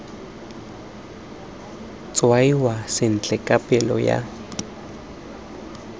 tshwaiwa sentle ka palo ya